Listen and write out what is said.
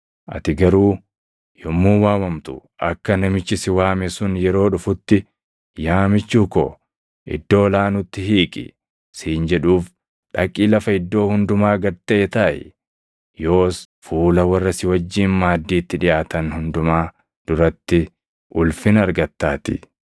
Ati garuu yommuu waamamtu akka namichi si waame sun yeroo dhufutti, ‘Yaa michuu koo iddoo ol aanutti hiiqi’ siin jedhuuf dhaqii lafa iddoo hundumaa gad taʼe taaʼi; yoos fuula warra si wajjin maaddiitti dhiʼaatan hundumaa duratti ulfina argattaatii.